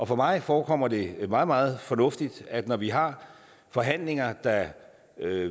for mig forekommer det meget meget fornuftigt at vi når vi har forhandlinger der